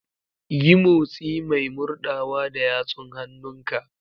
Yi motsi mai murɗawa da yatsun hannunka.